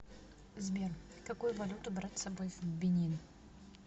сбер какую валюту брать с собой в бенин